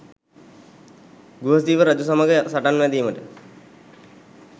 ගුහසීව රජු සමඟ සටන් වැදීමට